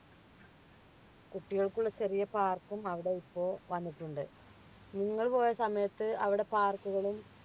കുട്ടികൾക്കുള്ള ചെറിയ park ക്കും അവിടെ ഇപ്പോൾ വന്നിട്ടുണ്ട് നിങ്ങൾ പോയ സമയത്ത് അവിടെ park കളും